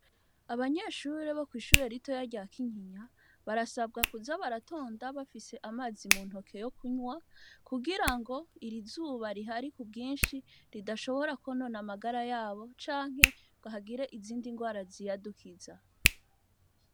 Abanyeshure bo kw'ishure ritoya rya Kinyinya barasabwa kuza baratonda bafise amazi mu ntoke yo kunywa, kugira ngo iri zuba rihari ku bwinshi ridashobora kwonona amagara yabo, canke ngo hagire izindi ndwara ziyadukiza.